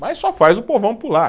Mas só faz o povão pular.